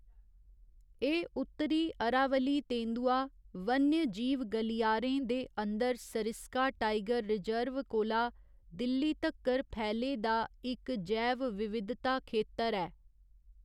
एह् उत्तरी अरावली तेंदुआ वन्यजीव गलियारे दे अंदर सरिस्का टाइगर रिजर्व कोला दिल्ली तक्कर फैले दा इक जैव विविधता खेतर ऐ।